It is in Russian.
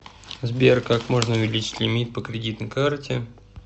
сбер как можно увеличить лемит по кредитной карте